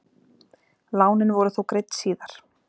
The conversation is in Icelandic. Lánin voru þó greidd síðar.